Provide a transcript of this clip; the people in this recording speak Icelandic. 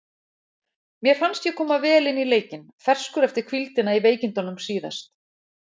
Mér fannst ég koma vel inn í leikinn, ferskur eftir hvíldina í veikindunum síðast.